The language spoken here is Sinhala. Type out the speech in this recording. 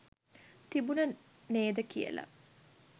තිබුන නේද කියල.